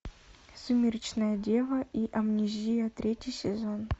сумеречная дева и амнезия третий сезон